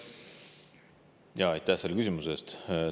Aitäh selle küsimuse eest!